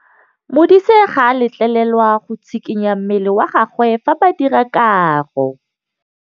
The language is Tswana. Modise ga a letlelelwa go tshikinya mmele wa gagwe fa ba dira karô.